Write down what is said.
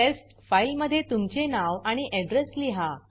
taste file मध्ये तुमचे नाव आणि अड्रेस लिहा